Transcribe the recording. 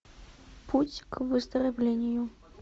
путь к выздоровлению